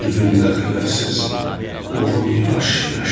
Üzündə xəbərsiz qovur yaş-yaşı.